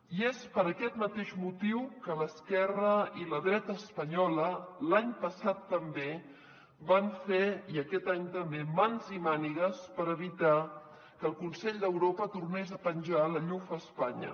i és per aquest mateix motiu que l’esquerra i la dreta espanyola l’any passat també van fer i aquest any també mans i mànigues per evitar que el consell d’europa tornés a penjar la llufa a espanya